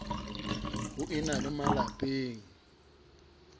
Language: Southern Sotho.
ho e na le malapeng